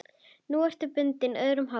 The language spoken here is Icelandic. Nú ertu bundin, öðrum háð.